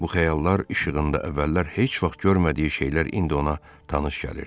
Bu xəyallar işığında əvvəllər heç vaxt görmədiyi şeylər indi ona tanış gəlirdi.